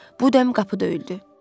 Bu dəm qapı döyüldü.